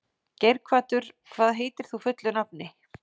Geirhvatur, hvað heitir þú fullu nafni?